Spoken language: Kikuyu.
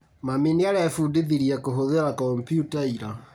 Mami nĩarebundithirie kũhũthĩra komputa ira?